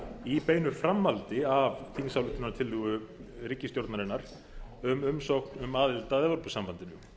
í beinu framhaldi af þingsályktunartillögu ríkisstjórnarinnar um umsókn um aðild að evrópusambandinu